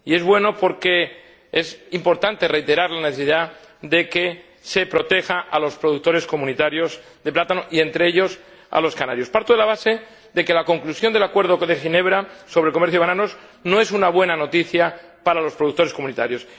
Y es bueno porque es importante reiterar la necesidad de que se proteja a los productores comunitarios de plátano y, entre ellos, a los canarios. Parto de la base de que la conclusión del Acuerdo de Ginebra sobre el comercio de bananos no es una buena noticia para los productores comunitarios.